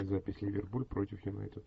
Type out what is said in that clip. запись ливерпуль против юнайтед